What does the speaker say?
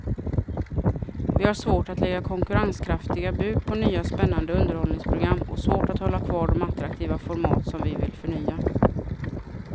Vi har svårt att lägga konkurrenskraftiga bud på nya spännande underhållningsprogram och svårt att hålla kvar de attraktiva format som vi vill förnya.